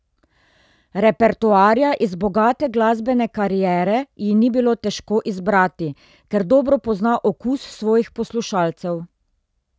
Repertoarja iz bogate glasbene kariere ji ni bilo težko izbrati, ker dobro pozna okus svojih poslušalcev.